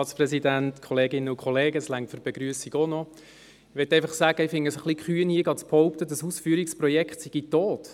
Ich möchte einfach sagen, dass ich es kühn finde, hier zu behaupten, das Ausführungsprojekt sei tot.